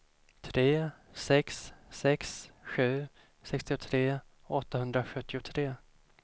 tre sex sex sju sextiotre åttahundrasjuttiotre